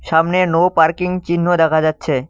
সামনে no parking চিহ্ন দেখা যাচ্ছে।